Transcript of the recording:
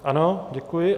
Ano, děkuji.